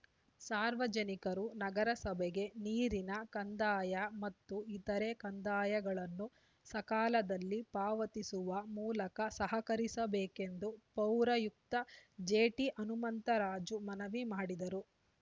ಸಾರ್ವಜನಿಕರು ನಗರಸಭೆಗೆ ನೀರಿನ ಕಂದಾಯ ಮತ್ತು ಇತರೆ ಕಂದಾಯಗಳನ್ನು ಸಕಾಲದಲ್ಲಿ ಪಾವತಿಸುವ ಮೂಲಕ ಸಹಕರಿಸಬೇಕೆಂದು ಪೌರಾಯುಕ್ತ ಜೆಟಿಹನುಮಂತರಾಜು ಮನವಿ ಮಾಡಿದರು